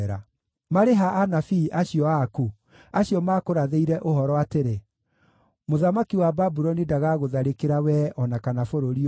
Marĩ ha anabii acio aku, acio maakũrathĩire ũhoro atĩrĩ, ‘Mũthamaki wa Babuloni ndagagũtharĩkĩra wee o na kana bũrũri ũyũ’?